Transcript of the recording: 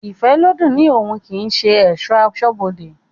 Ifẹ́lodùn ni oún kii ṣe esọ̀ asọ́bodè